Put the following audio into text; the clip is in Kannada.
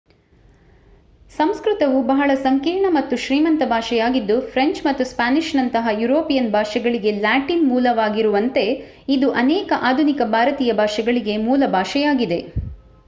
ಸಂಸ್ಕೃತವು ಬಹಳ ಸಂಕೀರ್ಣ ಮತ್ತು ಶ್ರೀಮಂತ ಭಾಷೆಯಾಗಿದ್ದು ಫ್ರೆಂಚ್ ಮತ್ತು ಸ್ಪ್ಯಾನಿಷ್‌ನಂತಹ ಯುರೋಪಿಯನ್ ಭಾಷೆಗಳಿಗೆ ಲ್ಯಾಟಿನ್ ಮೂಲವಾಗಿಗಿರುವಂತೆ ಇದು ಅನೇಕ ಆಧುನಿಕ ಭಾರತೀಯ ಭಾಷೆಗಳಿಗೆ ಮೂಲಭಾಷೆಯಾಗಿದೆ,